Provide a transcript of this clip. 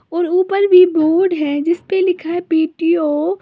और ऊपर भी बोर्ड है जिस पर लिखा है पी_टी_ओ ।